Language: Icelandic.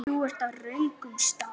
Þú ert á röngum stað